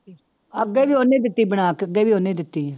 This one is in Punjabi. ਅੱਗੇ ਵੀ ਉਹਨੇ ਹੀ ਦਿੱਤੀ ਸੀ ਬਣਾ ਕੇ, ਅੱਗੇ ਵੀ ਉਹਨੇ ਦਿੱਤੀ ਸੀ।